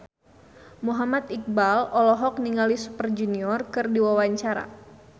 Muhammad Iqbal olohok ningali Super Junior keur diwawancara